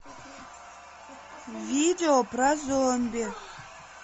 видео про зомби